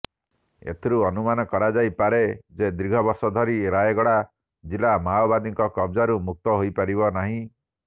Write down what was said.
ଏଥିରୁ ଅନୁମାନ କରାଯାଇ ପାରେ ଯେ ଦୀର୍ଘ ବର୍ଷ ଧରି ରାୟଗଡ ଜିଲ୍ଳା ମାଓବାଦୀଙ୍କ କବଜାରୁ ମୁକ୍ତ ହୋଇପାରିନାହିଁ